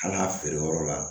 An ka feere yɔrɔ la